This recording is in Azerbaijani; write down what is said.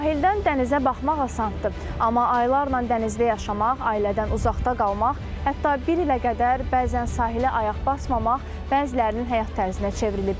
Sahildən dənizə baxmaq asandır, amma illərlə dənizdə yaşamaq, ailədən uzaqda qalmaq, hətta bir ilə qədər bəzən sahilə ayaq basmamaq bəzilərinin həyat tərzinə çevrilib.